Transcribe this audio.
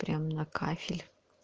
прям на кафель